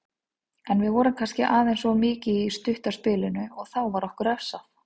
En við vorum kannski aðeins of mikið í stutta spilinu og þá var okkur refsað.